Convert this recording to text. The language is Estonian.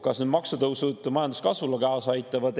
Kas need maksutõusud aitavad majanduskasvule kaasa?